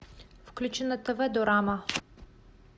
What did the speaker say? включи на тв дорама